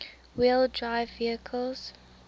wheel drive vehicles